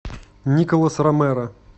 николас ромеро